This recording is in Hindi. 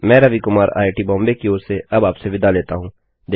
मैं रवि कुमार आईआईटीबॉम्बे की ओर से अब आपसे विदा लेती हूँ